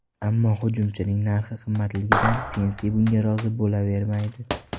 Ammo hujumchining narxi qimmatligidan Sensi bunga rozi bo‘lavermaydi.